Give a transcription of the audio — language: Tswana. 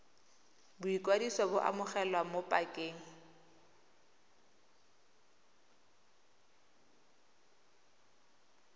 boikwadiso bo amogelwa mo pakeng